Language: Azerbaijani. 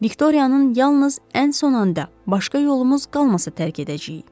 Viktoriyanın yalnız ən sonunda, başqa yolumuz qalmasa tərk edəcəyik.